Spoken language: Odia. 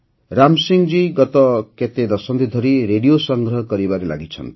ରାମ ସିଂହଜୀ ଗତ କେତେ ଦଶନ୍ଧି ଧରି ରେଡ଼ିଓ ସଂଗ୍ରହ କରିବାରେ ଲାଗିଛନ୍ତି